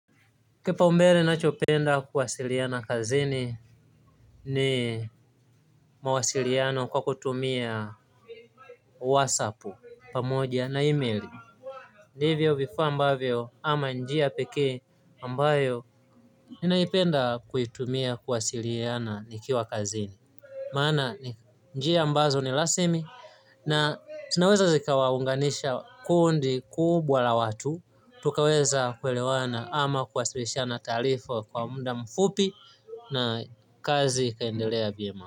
Kepaumbele nachopenda kuwasiliana kazini ni mawasiliano kwa kutumia wasapu pamoja na emaili ndivyo vifaa ambavyo ama njia pekee ambayo ninaipenda kuitumia kuwasiliana nikiwa kazini maana njia ambazo ni rasimi na zinaweza zikawaunganisha kundi kubwa la watu tukaweza kuelewana ama kuwasilishana taarifa kwa muda mfupi na kazi kaendelea vyema.